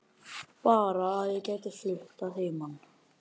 Bara að ég gæti flutt að heiman